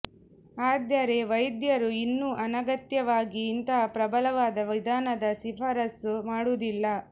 ಆದರೆ ವೈದ್ಯರು ಇನ್ನೂ ಅನಗತ್ಯವಾಗಿ ಇಂತಹ ಪ್ರಬಲವಾದ ವಿಧಾನದ ಶಿಫಾರಸು ಮಾಡುವುದಿಲ್ಲ